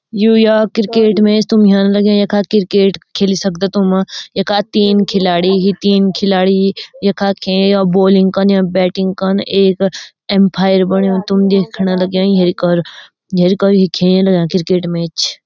यु या cricket match तुम लग्यां यखा क्रिकेट खेल सकदा तुम यखा तीन खिलाडी ही तीन खिलाडी यखा खे या बोलिंग कन्य बैटिंग कन एक अंपायर बण्युं तुम देखणा लग्यां खेल क्रिकेट मैच ।